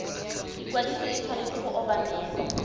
ikwadiso e tshwanetse go obamelwa